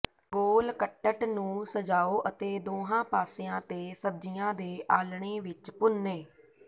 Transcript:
ਗੋਲ ਕੱਟਟ ਨੂੰ ਸਜਾਓ ਅਤੇ ਦੋਹਾਂ ਪਾਸਿਆਂ ਤੇ ਸਬਜ਼ੀਆਂ ਦੇ ਆਲ੍ਹਣੇ ਵਿੱਚ ਭੁੰਨੇ